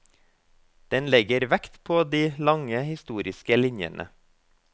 Den legger vekt på de lange historiske linjene.